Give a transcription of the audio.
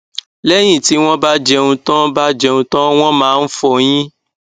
lẹyìn tí wọn bá jẹun tán bá jẹun tán wọn máa ń fọyín